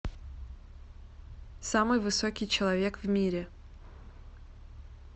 самый высокий человек в мире